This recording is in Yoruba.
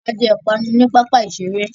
A jẹ ipanu ní pápá iṣere